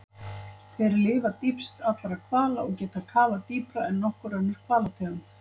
Þeir lifa dýpst allra hvala og geta kafað dýpra en nokkur önnur hvalategund.